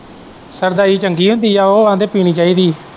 ਸਰਦਾਈ ਚੰਗੀ ਹੁੰਦੀ ਹੈ ਉਹ ਆਂਦੇ ਪੀਣੀ ਚਾਹੀਦੀ।